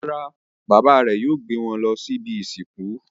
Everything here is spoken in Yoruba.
Rárá, bàbá rẹ̀ yóò gbé wọn lọ ibi-ìsìnkú.